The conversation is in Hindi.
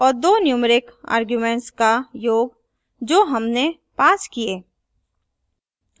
और दो numeric arguments का योग जो हमने passed किए